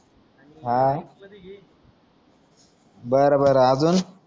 हा बर बर आजून